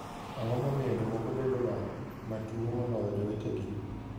Ang'o momiyo jomoko bedoga ma tuwo moloyo jowetegi?